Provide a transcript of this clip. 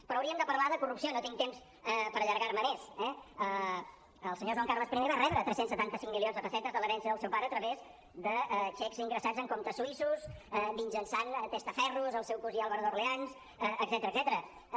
però hauríem de parlar de corrupció no tinc temps per allargar me més eh el senyor joan carles i va rebre tres cents i setanta cinc milions de pessetes de l’herència del seu pare a través de xecs ingressats en comptes suïssos mitjançant testaferros el seu cosí álvaro d’orleans etcètera